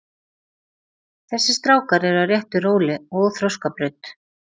Þessir strákar eru á réttu róli og þroskabraut.